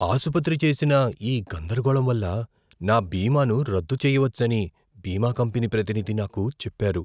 ఆసుపత్రి చేసిన ఈ గందరగోళం వల్ల, నా బీమాను రద్దు చేయవచ్చని బీమా కంపెనీ ప్రతినిధి నాకు చెప్పారు.